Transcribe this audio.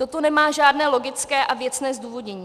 Toto nemá žádné logické a věcné zdůvodnění.